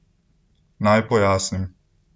Naj pojasnim.